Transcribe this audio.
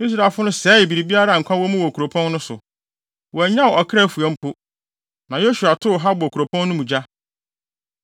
Israelfo no sɛee biribiara a nkwa wɔ mu wɔ kuropɔn no so. Wɔannya ɔkra fua mpo. Na Yosua too Hasor kuropɔn no mu gya.